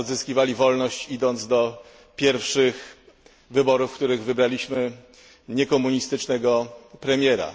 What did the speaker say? Polacy odzyskiwali wolność, idąc do pierwszych wyborów, w których wybraliśmy niekomunistycznego premiera.